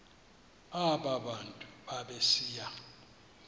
aba bantu babesiya